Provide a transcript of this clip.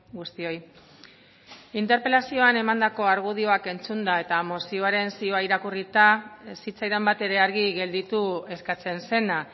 guztioi interpelazioan emandako argudioak entzunda eta mozioaren zioa irakurrita ez zitzaidan batere argi gelditu eskatzen zena